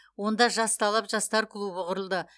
онда жас талап жастар клубы құрылды